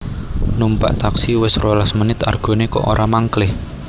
Numpak taksi wes rolas menit argone kok ora mangklih